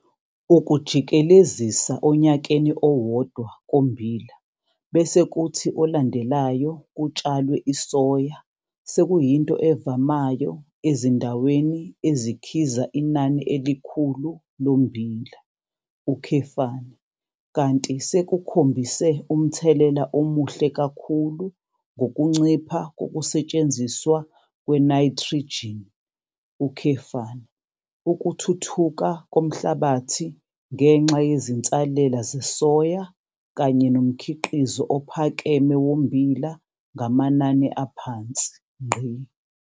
Ukujikelezisa onyakeni owodwa kommbila bese kuthi olandelayo kutshalwe isoya sekuyinto evamayo ezindaweni ezikhiza inani elikhulu lommbila, kanti sekukhombise umthelela omuhle kakhulu ngokuncipha kokusetshenziswa kwenayithrijini, ukuthuthuka komhlabathi ngenxa yezinsalela zesoya kanye nomkhiqizo ophakeme wommbila ngamanani aphansi.